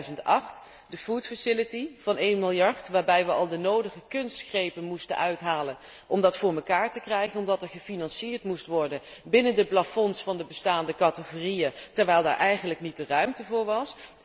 in 2008 de voedselfaciliteit van 1 miljard, waarbij we al de nodige kunstgrepen moesten uithalen om dat voor elkaar te krijgen, omdat er gefinancierd moest worden binnen de plafonds van de bestaande categorieën, terwijl daar eigenlijk niet de ruimte voor was.